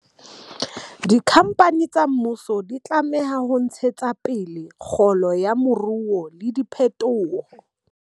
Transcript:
Dikhampani tsa mmuso di tlameha ho ntshetsa pele kgolo ya moruo le diphetoho.